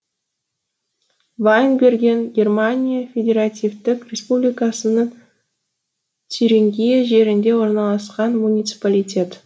вайнберген германия федеративтік республикасының тюрингия жерінде орналасқан муниципалитет